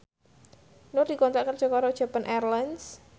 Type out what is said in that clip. Nur dikontrak kerja karo Japan Airlines